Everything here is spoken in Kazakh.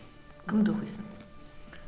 кімді оқисың